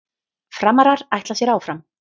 Framarar ætla sér áfram